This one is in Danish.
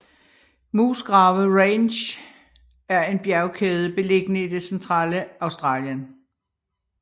Musgrave Ranges er en bjergkæde beliggende i det centrale Australien